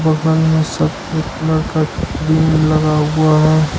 बगल में सफेद कलर का क्रीम लगा हुआ है।